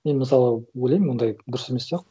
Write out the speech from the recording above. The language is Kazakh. мен мысалы ойлаймын ондай дұрыс емес сияқты